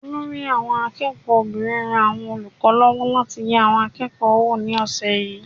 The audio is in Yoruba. Olórí àwọn akẹ́kọ̀ọ́ obìnrin ran àwọn olùkọ́ lọ́wọ́ láti yẹ àwọn akẹ́kọ̀ọ́ wò ní ọ̀sẹ̀ yìí.